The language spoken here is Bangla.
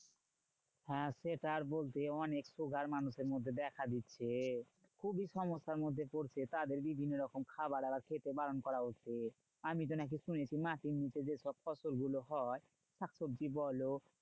হ্যাঁ সেটা আর বলতে অনেক sugar মানুষের মধ্যে দেখা দিচ্ছে। খুবই সমস্যার মধ্যে পড়ছে। তাদের বিভিন্ন রকম খাওয়াদাওয়া খেতে বারণ করা হচ্ছে। আমিতো নাকি শুনেছি মাটির নিচে যেসব ফসল গুলো হয়, শাকসবজি বলো